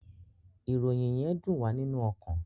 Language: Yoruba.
Ìròyìn yén dùn wá nínú ọkan